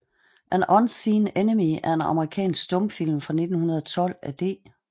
An Unseen Enemy er en amerikansk stumfilm fra 1912 af D